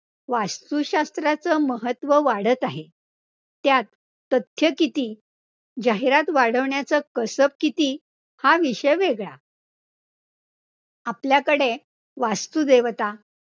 वास्तुशास्त्राचं महत्व वाढत आहे, त्यात तथ्य किती, जाहिरात वाढवण्याचं कसब किती हा विषय वेगळा आपल्याकडे वास्तुदेवता